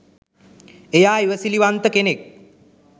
එයා ඉවසිලිවන්ත කෙනෙක්